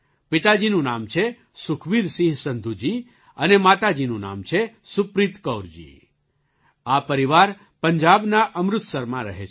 પિતાજીનું નામ છે સુખબીરસિંહ સંધૂ જી અને માતાજીનું નામ છે સુપ્રીત કૌરજી આ પરિવાર પંજાબના અમૃતસરમાં રહે છે